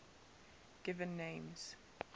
given names